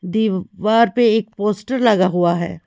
दीवार पे एक पोस्टर लगा हुआ हैं।